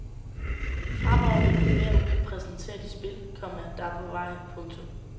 Fremover vil vi hver uge præsentere de spil, komma der er på vej. punktum